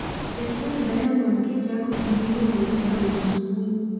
Ket wend diamond kichako gi miluongo ni haunisumbui